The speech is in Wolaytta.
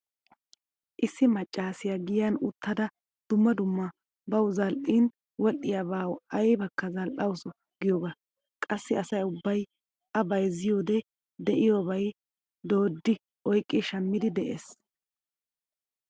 Issi maccaasiya giyan uttada dumma dumma bawu zal"iini wodhdhiyaabaa aybakka zal"awusu giyogaa. Qassi asa ubbay a bayzzaydda diyoba dooddi oyqqi shammiiddi dees.